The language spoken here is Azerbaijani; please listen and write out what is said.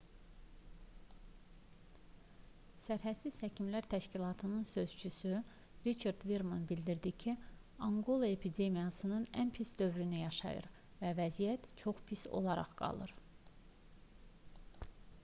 sərhədsiz həkimlər təşkilatının sözçüsü riçard verman bildirdi ki anqola epidemiyanın ən pis dövrünü yaşayır və vəziyyət çox pis olaraq qalır